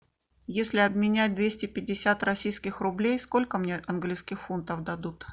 если обменять двести пятьдесят российских рублей сколько мне английских фунтов дадут